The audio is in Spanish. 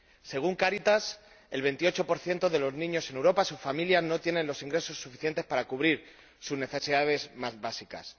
Según Cáritas, el 28 de los niños en Europa —sus familias— no tienen los ingresos suficientes para cubrir sus necesidades más básicas.